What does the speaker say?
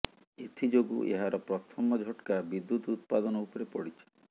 ଏଥିଯୋଗୁଁ ଏହାର ପ୍ରଥମ ଝଟକା ବିଦ୍ୟୁତ ଉତ୍ପାଦନ ଉପରେ ପଡ଼ିଛି